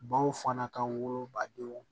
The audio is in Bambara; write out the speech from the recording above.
Baw fana ka wolobadenw